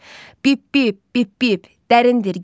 Pip pip, pip pip, dərindir göylər.